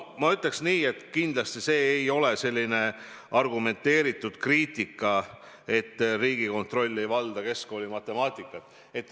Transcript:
Ma ütleks nii, et kindlasti see ei ole argumenteeritud kriitika, kui väidetakse, et Riigikontroll ei valda keskkoolimatemaatikat.